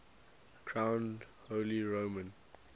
crowned holy roman